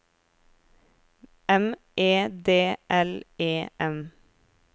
M E D L E M